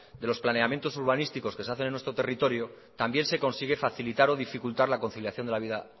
de los planeamientos urbanísticos que se hace en nuestro territorio también se consigue facilitar o dificultar la conciliación de la vida